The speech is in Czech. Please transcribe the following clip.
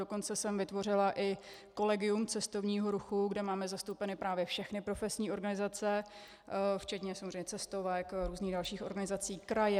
Dokonce jsem vytvořila i kolegium cestovního ruchu, kde máme zastoupeny právě všechny profesní organizace, včetně samozřejmě cestovek, různých dalších organizací, kraje -